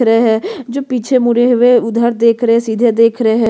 दिख रहै है जो पीछे मुड़े हुए उधर देख रहै है सीधे देख रहै है।